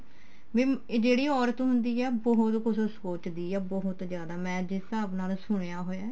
ਵੀ ਇਹ ਜਿਹੜੀ ਔਰਤ ਹੁੰਦੀ ਏ ਉਹ ਬਹੁਤ ਕੁੱਝ ਸੋਚਦੀ ਏ ਬਹੁਤ ਜਿਆਦਾ ਮੈਂ ਜਿਸ ਹਿਸਾਬ ਨਾਲ ਸੁਣਿਆ ਹੋਇਆ